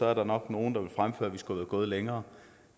er der nok nogen der vil fremføre at vi skulle være gået længere